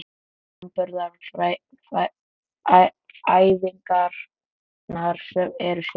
Framburðaræfingarnar eru skemmtilegar.